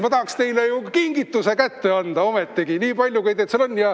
Ma tahaks teile ju kingituse kätte anda ometigi, nii palju, kui teid seal on.